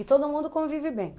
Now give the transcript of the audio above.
E todo mundo convive bem?